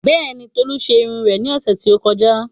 Bẹ́ẹ̀ni, Tolu ṣe irun rẹ̀ ní ọ̀sẹ̀ tí ó kọjá